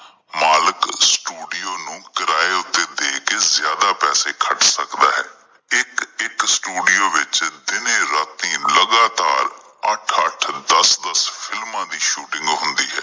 ਮਾਲਿਕ studio ਨੂੰ ਕਿਰਾਏ ਉੱਤੇ ਦੇ ਕੇ ਜਿਆਦਾ ਪੈਸੇ ਖਰਚ ਸਕਦਾ ਹੈ ਇੱਕ ਇੱਕ ਸਟੂਡੀਓ ਵਿਚ ਦਿਨੇ ਰਾਤਿ ਲਗਾਤਾਰ ਅੱਠ ਅੱਠ ਦੱਸ ਦੱਸ ਫਿਲਮਾਂ ਦੀ ਸ਼ੂਟਿੰਗ ਹੁੰਦੀ ਹੈ।